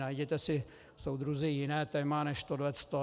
Najděte si, soudruzi, jiné téma než toto.